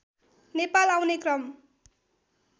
नेपाल आउने क्रम